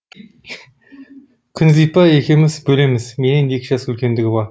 күнзипа екеуміз бөлеміз менен екі жас үлкендігі бар